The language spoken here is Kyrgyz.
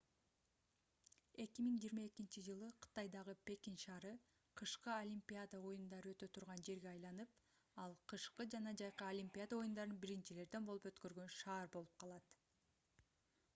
2022-жылы кытайдагы пекин шаары кышкы олимпиада оюндары өтө турган жерге айланып ал кышкы жана жайкы олимпиада оюндарын биринчилерден болуп өткөргөн шаар болуп калат